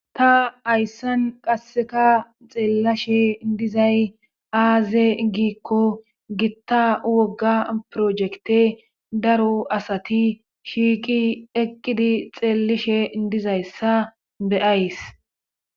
ta hayssan qasseka xeellashe dizay aaze giikko gitta wogga projekte daro asati shiiqi eqqidi xeellishe dizayssa beyays